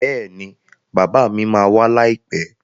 Bẹ́ẹ̀ni bàbá mi ma wá láìpẹ́